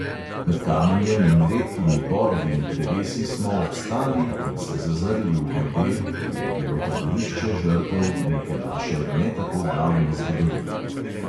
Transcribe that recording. Med kamenjem in redkimi borovimi drevesi smo obstali in se zazrli v globel, kjer je bilo taborišče žrtev neke naše ne tako davne zgodovine.